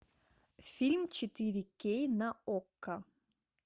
фильм четыре кей на окко